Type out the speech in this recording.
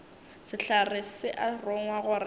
sehlare se a rongwa gore